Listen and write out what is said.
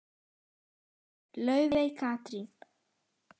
Þín dóttir, Laufey Katrín.